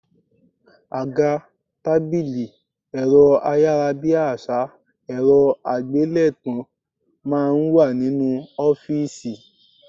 Àga, tábìlì, ẹ̀rọ ayárabíàṣá, ẹ̀rọ àgbélétan máa ń wà nínú ọ́fìsì